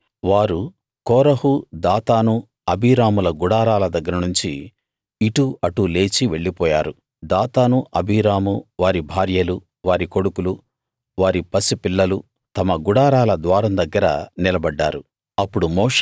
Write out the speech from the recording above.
కాబట్టి వారు కోరహు దాతాను అబీరాముల గుడారాల దగ్గర నుంచి ఇటు అటు లేచి వెళ్ళిపోయారు దాతాను అబీరాము వారి భార్యలు వారి కొడుకులు వారి పసిపిల్లలు తమ గుడారాల ద్వారం దగ్గర నిలబడ్డారు